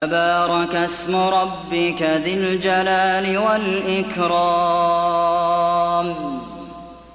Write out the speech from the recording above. تَبَارَكَ اسْمُ رَبِّكَ ذِي الْجَلَالِ وَالْإِكْرَامِ